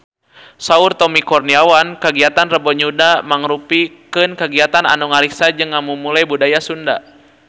Saur Tommy Kurniawan kagiatan Rebo Nyunda mangrupikeun kagiatan anu ngariksa jeung ngamumule budaya Sunda